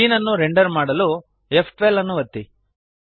scene ಅನ್ನು render ಮಾಡಲು ಫ್12 ಅನ್ನು ಒತ್ತಿರಿ